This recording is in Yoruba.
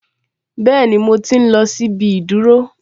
Bẹ́ẹ̀ni, mo tí n lọ sí ibi ìdúró